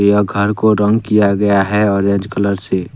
यह घर को रंग किया गया है ऑरेंज कलर से।